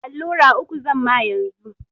Allura uku zamma yanzu.